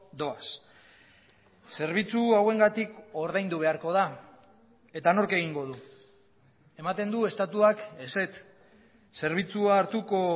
doaz zerbitzu hauengatik ordaindu beharko da eta nork egingo du ematen du estatuak ezetz zerbitzua hartuko